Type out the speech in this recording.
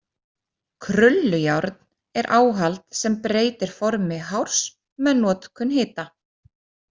Krullujárn er áhald sem breytir formi hárs með notkun hita.